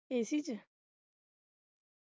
AC ਚ?